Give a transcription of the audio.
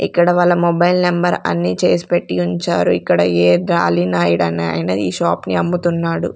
ఇక్కడ వాళ్ళ mobile number అన్ని చేసి పెట్టి ఉంచారు ఇక్కడ ఏ డ్రాలిన ఈడ అన్ని వాటిని ఈ షాప్ ని అమ్ముతున్నాడు.